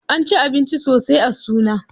An ci abinci sosai a suna.